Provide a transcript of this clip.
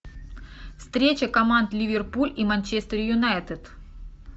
встреча команд ливерпуль и манчестер юнайтед